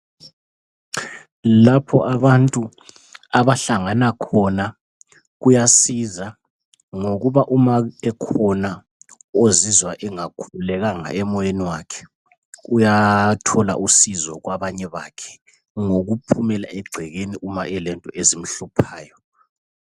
Lapho abantu abahlangana khona kuyasiza ngokuba uma ekhona ozizwa engakhululekanga emoyeni wakhe, uyathola usizo kwabanye bakhe ngokuphumela egcekeni nxa elento ezimhluphayo.